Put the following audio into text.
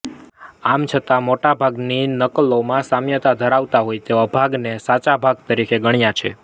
આમ છતાં મોટાભાગની નકલોમાં સામ્યતા ધરાવતા હોય તેવા ભાગને મેં સાચા ભાગ તરીકે ગણ્યા છે